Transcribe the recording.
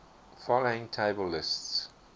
following table lists